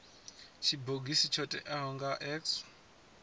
tshibogisi tsho teaho nga x